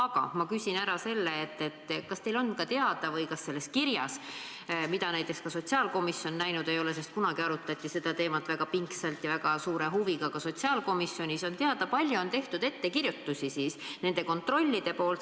Aga ma küsin ära selle: kas teil on ka teada või kas selles kirjas, mida näiteks ka sotsiaalkomisjon näinud ei ole – sest kunagi arutati seda teemat väga pingsalt ja väga suure huviga ka sotsiaalkomisjonis –, on ära toodud, kui palju on need kontrollid siis teinud ettekirjutusi?